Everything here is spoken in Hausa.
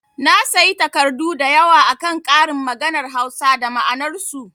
Na sayi takardu da yawa akan ƙarin maganar Hausa da ma'anar su